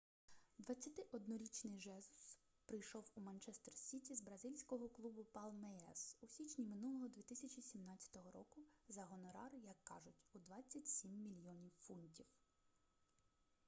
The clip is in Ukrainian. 21-річний жезус прийшов у манчестер сіті з бразильського клубу палмейрас у січні минулого 2017 року за гонорар як кажуть у 27 мільйонів фунтів